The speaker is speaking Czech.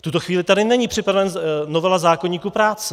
V tuto chvíli tady není připravena novela zákoníku práce.